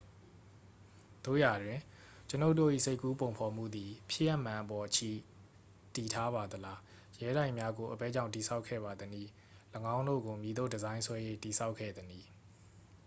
သို့ရာတွင် ကျွန်ုပ်တို့၏ စိတ်ကူးပုံဖော်မှုသည် ဖြစ်ရပ်မှန်အပေါ် အခြေတည်ထားပါသလား ရဲတိုက်များကို အဘယ်ကြောင့် တည်ဆောက်ခဲ့ပါသနည်း ၎င်းတို့ကို မည်သို့ ဒီဇိုင်းဆွဲ၍ တည်ဆောက်ခဲ့သနည်း